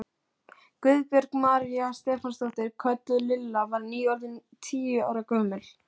Guðbjörg María Stefánsdóttir, kölluð Lilla, var nýorðin tíu ára gömul.